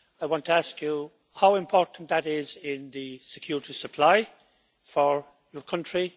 I want to ask you how important that is in the security supply for your country.